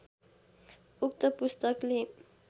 उक्त पुस्तकले